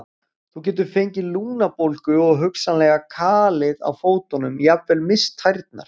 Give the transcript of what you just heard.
Þú getur fengið lungnabólgu og hugsanlega kalið á fótunum, jafnvel misst tærnar.